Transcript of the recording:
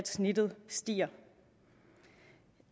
snittet stiger